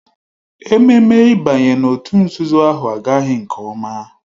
Ememme ịbanye n'òtù nzuzo ahụ agaghị nke ọma